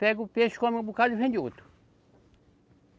Pega o peixe, come um bocado e vende outro.